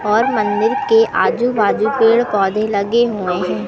और मंदिर के आजू बाजू पेड़ पौधे लगे हुएं हैं।